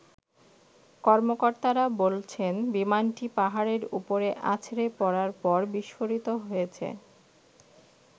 কর্মকর্তারা বলছেন বিমানটি পাহাড়ের উপরে আছড়ে পড়ার পর বিস্ফোরিত হয়েছে।